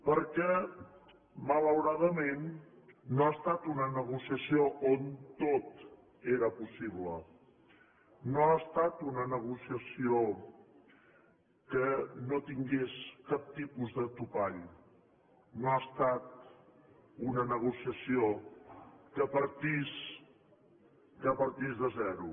perquè malauradament no ha estat una negociació on tot era possible no ha estat una negociació que no tingués cap tipus de topall no ha estat una negociació que partís de zero